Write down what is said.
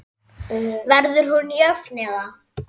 Verður hún jöfn eða?